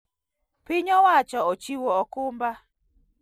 Piny owacho ochiwo okumba